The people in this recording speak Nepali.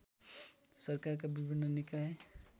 सरकारका विभिन्न निकाय